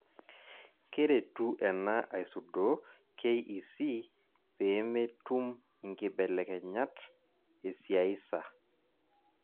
Keretu ena aisudoo KEC peemetum inkibelekenyat esiaisa.